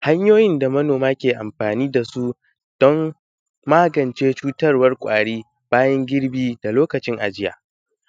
Hanyoyin da manoma ke anfani da su don magance cutarwan kwari lokacin girbi da lokacin ajiya,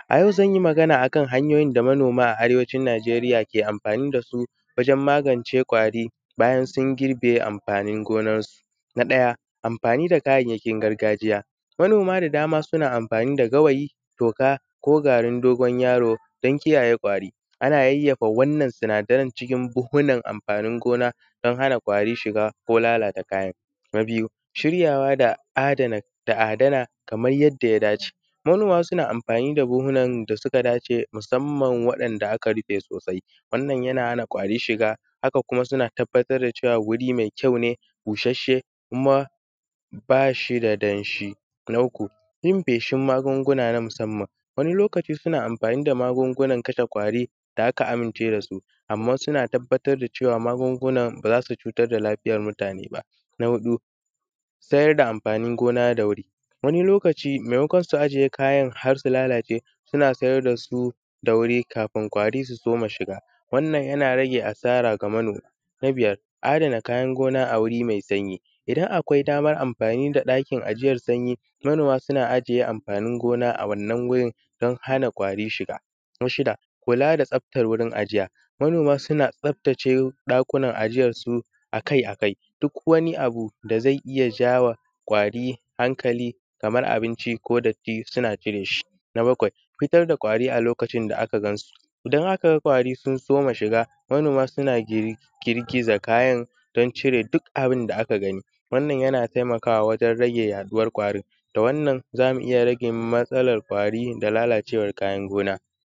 a yau zan yi magana akan hanyoyin da manoma a arewacin Najeriya ke amfani da su wajen magance kwari bayan sun girbe amfani nonansu. Na ɗaya amfani da kayayyakin gargajiya, manoma da dama suna amfani da gawayi da toka ko garin dogon yaro don kiyaye kwari, ana yayyafa wannan sinadarai cikin buhunan, ana amfanin gona don hana kwari shiga ko lalatawa. Na biyu shiryawa da adana kaman yanda ya dace, manoma suna anmfani buhunan da suka dace musanman wanda aka rife sosai ,wannan yana hana kwari shiga haka kuma suna tabbatar da cewa wuri mai kyau ne bushashshe kuma ba shi da danshi. Na uku yin feshin magunguna na musanman, wani lokacin suna anfani da magungunan kashe kwari da aka amince da su amman suna tabbatar da cewa magungunan ba za su cutar da lafiyan mutane ba. Na huɗu sayar da amfanin gona da wuri, wani lokaci maimakon su ajiye kayan har su lalace suna siyar da su da wuri kafin kwari su fara shiga, wannan yana rage asara wa manoma. Na biyar, adana kayan noma a waje ai sanyi idan akwai daman anfani da ɗakin ajiyan sanyi manoma suna ajiye anfanin gona a wannan wurin sabidda hana kwari shiga, na shida kula da tsaftan wurin ajiya, manoma suna tsaftace ɗakunan ajiyansu akai-akai duk wani abu da zai iya jawa kwari hankali kamar abinci ko datti suna cire shi. Na bakwai, fitar da kwari a lokacin da aka gan su, in aka ga kwari sun soma shiga, manoma suna girgiza kayan duon cewa sun cire duk abin da aka gani yana taimakawa wajen rage yaɗuwan abun da wannan za mu iya rage matsalan kwari da lalacewan kayan gona.